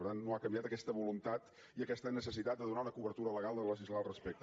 per tant no ha canviat aquesta voluntat ni aquesta necessitat de donar una cobertura legal de legislar al respecte